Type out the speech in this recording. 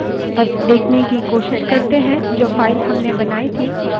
अब देखने की कोशिश करते हैं जो file हमने बनाई थी यदि हम उसे let सकते हैं